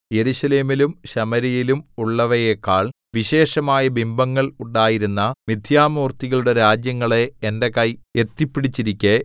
യെരൂശലേമിലും ശമര്യയിലും ഉള്ളവയെക്കാൾ വിശേഷമായ ബിംബങ്ങൾ ഉണ്ടായിരുന്ന മിഥ്യാമൂർത്തികളുടെ രാജ്യങ്ങളെ എന്റെ കൈ എത്തിപ്പിടിച്ചിരിക്കെ